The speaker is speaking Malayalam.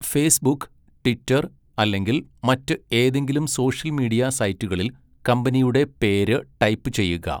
ഫേസ്ബുക്ക്, ട്വിറ്റർ, അല്ലെങ്കിൽ മറ്റ് ഏതെങ്കിലും സോഷ്യൽ മീഡിയ സൈറ്റുകളിൽ കമ്പനിയുടെ പേര് ടൈപ്പ് ചെയ്യുക.